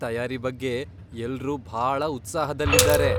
ತಯಾರಿ ಬಗ್ಗೆ ಎಲ್ರೂ ಭಾಳ ಉತ್ಸಾಹದಲ್ಲಿದಾರೆ.